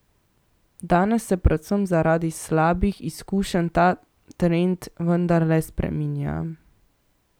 Danes se predvsem zaradi slabih izkušenj ta trend vendarle spreminja.